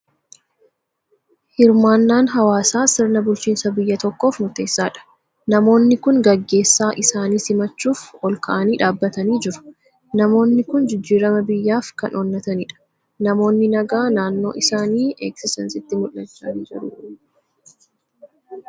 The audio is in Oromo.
Hirmaannaan hawaasaa sirna bulchiinsa biyya tokkoof murteessaadha. Namoonni kun gaggeessaa isaanii simachuuf ol ka'anii dhaabbatanii jiru. Namoonni kun jijjiirama biyyaaf kan onnatanidha. Namoonni nagaa naannoo isaanii eegsisan sitti mul'achaa ni jiruu?